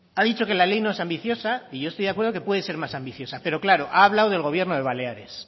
ha dicho que la ley no es ambiciosa y yo estoy de acuerdo que puede ser más ambiciosa pero claro ha hablado del gobierno de baleares